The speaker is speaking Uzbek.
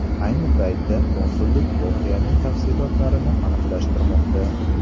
Ayni paytda konsullik voqeaning tafsilotlarini aniqlashtirmoqda.